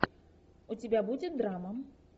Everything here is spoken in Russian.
у тебя будет драма